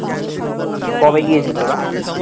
কবে গিয়েছিলি তোরা?